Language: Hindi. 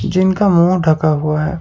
जिनका मुंह ढका हुआ है।